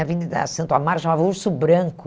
A Avenida Santo Amaro chamava Urso Branco.